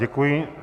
Děkuji.